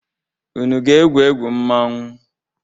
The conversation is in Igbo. Unu ga-agwụ egwu mmọnwụ.?